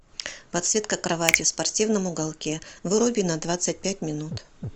подсветка кровати в спортивном уголке выруби на двадцать пять минут